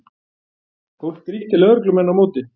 Fólk grýtti lögreglumenn á móti